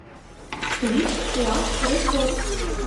клип ласт ресорт